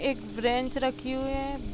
एक ब्रेंच रखी हुए हैं।